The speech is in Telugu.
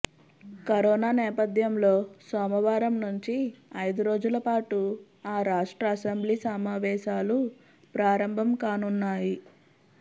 కరోనా నేపథ్యంలో సోమవారం నుంచి ఐదురోజులపాటు ఆ రాష్ట్ర అసెంబ్లీ సమావేశాలు ప్రారంభం కానున్నాయి